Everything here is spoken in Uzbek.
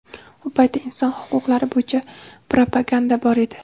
U paytda inson huquqlari bo‘yicha propaganda bor edi.